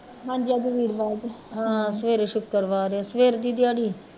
ਹਾਂ ਸਵੇਰੇ ਸ਼ੁੱਕਰਵਾਰ ਆ ਸਵੇਰ ਦੀ ਦਿਆੜੀ